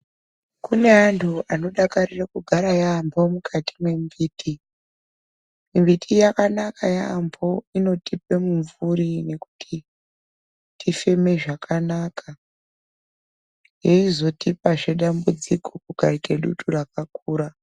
Kune antu anodakarire kugara yaampho mukati mwembiti. Mbiti yakanaka yaampho inotipe mumvuri, nekuti tifeme zvakanaka, yeizotipazve dambudziko kukaite dutu rakakura.